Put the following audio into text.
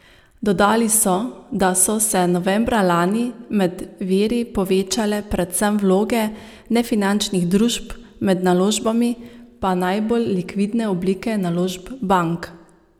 Dodali so, da so se novembra lani med viri povečale predvsem vloge nefinančnih družb, med naložbami pa najbolj likvidne oblike naložb bank.